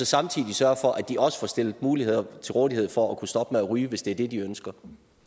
samtidig sørge for at de også får stillet muligheder til rådighed for at kunne stoppe med at ryge hvis det er det de ønsker